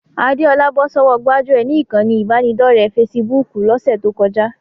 Adéọlá bọ́ sọ́wọ́ gbájúẹ̀ ni ìkànnì ìbánidọ́ọ̀rẹ́ fesibúùkù lọ́sẹ̀ tó kọjá